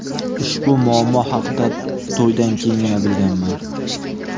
Ushbu muammo haqida to‘ydan keyingina bilganman.